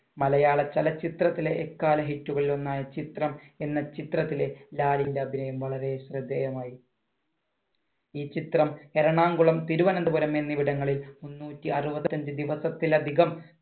മലയാള ചലച്ചിത്രത്തിലെ എക്കാല hit കളിൽ ഒന്നായ ചിത്രം എന്ന ചിത്രത്തിലെ ലാലിന്‍റെ അഭിനയം വളരെ ശ്രദ്ധേയമായി. ഈ ചിത്രം എറണാകുളം, തിരുവന്തപുരം എന്നിവിടങ്ങളിൽ മുന്നൂറ്റി അറുപത്തിയഞ്ചു ദിവസത്തിൽ അധികം